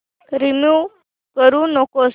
remove करू नको